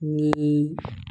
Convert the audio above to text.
Ni